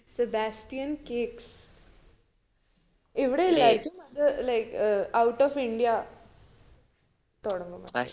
Sebastian cakes ഇവിടെ ഇല്ലാ ഇത് അത് like out india തൊടങ്ങും